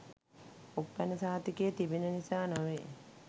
උප්පැන්න සහතිකයෙ තිබෙන නිසා නොවෙයි